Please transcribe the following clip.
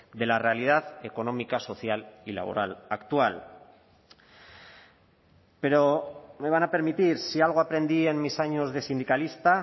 de la realidad económica social y laboral actual pero me van a permitir si algo aprendí en mis años de sindicalista